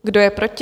Kdo je proti?